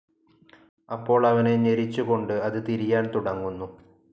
അപ്പോൾ അവനെ ഞെരിച്ചുകൊണ്ട് അത് തിരിയാൻ തുടങ്ങുന്നു.